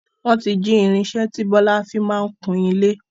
Wọn tí jí irinsẹ́ tí Bọlá fii máa ń kùn ilé